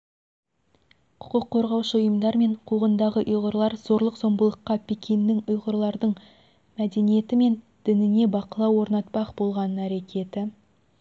құқық қорғаушы ұйымдар мен қуғындағы ұйғырлар зорлық-зомбылыққа пекиннің ұйғырлардың мәдениеті мен дініне бақылау орнатпақ болған әрекеті